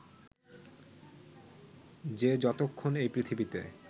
যে যতক্ষণ এই পৃথিবীতে